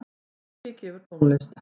Toggi gefur tónlist